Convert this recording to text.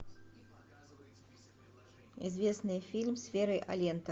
известный фильм с верой алентовой